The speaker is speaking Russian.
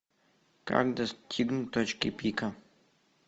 как достигнуть точки пика